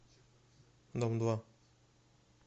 дом два